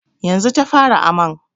Yanzu ta fara aman.